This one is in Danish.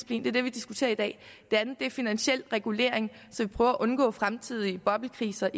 det er det vi diskuterer i dag det andet er finansiel regulering så vi prøver at undgå fremtidige boblekriser